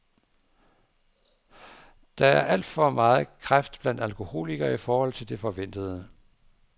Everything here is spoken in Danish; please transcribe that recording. Der var alt for meget kræft blandt alkoholikerne i forhold til det forventede.